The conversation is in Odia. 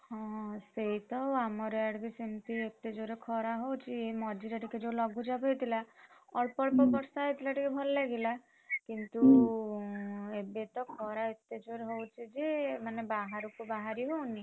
ହଁ ସେଇତ ଆମର ଆଡେ ସେମିତି ଏତେ ଜୋରେ ଖରା ହଉଛି, ଏଇ ମଝିରେ ଜୋଉ ଟିକେ ଲଘୁଚାପ ହେଇଥିଲା, ଅଳ୍ପ ଅଳ୍ପ ବର୍ଷା ହେଇଥିଲା ଭଲ ଲାଗିଲା, ହୁଁ କିନ୍ତୁ ଏବେ ତ ଖରା ଏତେ ଜୋରେ ହଉଛି ଯେ ମାନେ ବାହାରକୁ ବାହାରି ହଉନି।